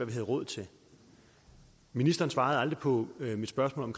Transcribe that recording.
vi havde råd til og ministeren svarede aldrig på mit spørgsmål om